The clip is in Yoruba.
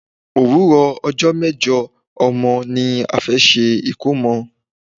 Òwúrò ọjọ́ mejo ọmọ ni a fẹ́ ṣe ikomo.